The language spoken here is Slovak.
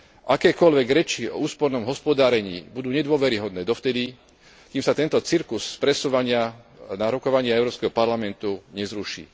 Akékoľvek reči o úspornom hospodárení budú nedôveryhodné dovtedy, kým sa tento cirkus presúvania sa na rokovania Európskeho parlamentu nezruší.